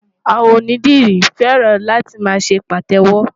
Àwọn onídìrí fẹ́ràn láti máa ṣe Pàtẹ́wọ́.